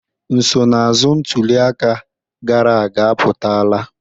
Nsonaazụ ntuli aka gara aga apụtala.